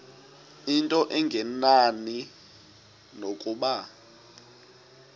into engenani nokuba